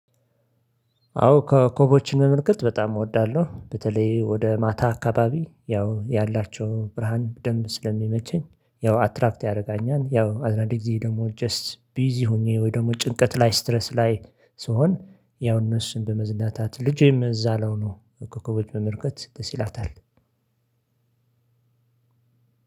አዎ ከኮቦችን መመልከት በጣም እወዳለሁ በተለይ ወደ ማታ አካባቢ ያው ያላቸው ብርሃን ደንብ ስለሚመቸኝ። ያው አትራፕት ያደርጋኛል ያው አድራጊ ጊዜ ደግሞ ጀስት ቢዚ ሆኜ ወይ ደግሞ ጭንቀት ላይ ስትረስ ላይ ስሆን ያው እነሱን በመዝናታት ልጄም እዛ ለው ነው እኮ እኮ በመርከት መምህርከት ደሰ ይላታል።